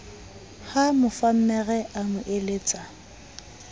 ha mofammere a mo eletsa